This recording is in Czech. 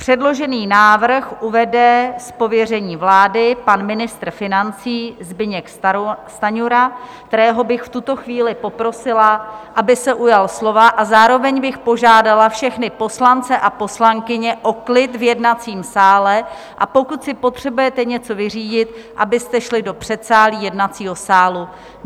Předložený návrh uvede z pověření vlády pan ministr financí Zbyněk Stanjura, kterého bych v tuto chvíli poprosila, aby se ujal slova, a zároveň bych požádala všechny poslance a poslankyně o klid v jednacím sále, a pokud si potřebujete něco vyřídit, abyste šli do předsálí jednacího sálu.